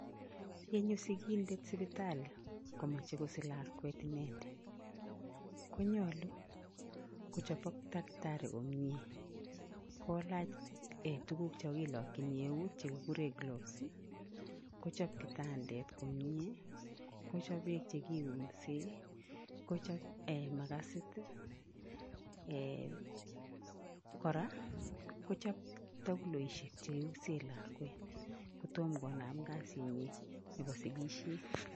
Yenyoo sikindet sipitali komoche kosich lakwet inee, konyolu kochobok takitari komnyee kolach tukuk choon kilokyin euut chekikuren gloves kochob kitandet komiee kochob beek chekiunsen, kochob makasit Um kora kochob tokuloishek chekiunsen lakwet kotom konaam kasinyin neboo sikisyet.